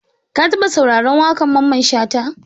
Ka taɓa sauraron waƙar Mamman Shata?